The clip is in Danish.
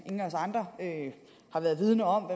ingen af os andre har været vidende om